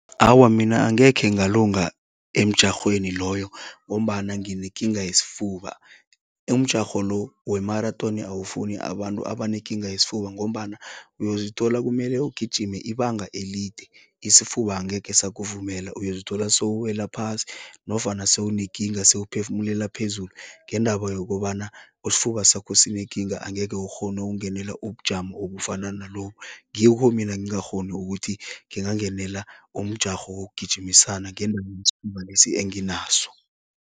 Awa, mina angekhe ngalunga emjarhweni loyo ngombana nginekinga yesifuba. Umjarho lo we maratoni awufuni abantu abanekinga yesifuba ngombana uyozithola kumele ugijime ibanga elide, isifuba angekhe sakuvumela, uyozithola sewuwela phasi nofana sewunekinga sewuphefumelela phezulu ngendaba yokobana isifuba sakho sinekinga angeke ukghone ukungenela ubujamo obufana nalobu. Ngikho mina ngingakghoni ukuthi ngingangenela umjarho wokugijimisana yesifuba lesi anginaso.